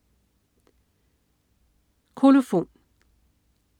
Kolofon